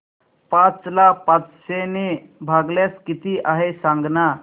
पाच ला पाचशे ने भागल्यास किती आहे सांगना